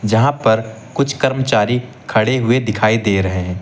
जहां पर कुछ कर्मचारी खड़े हुए दिखाई दे रहे हैं।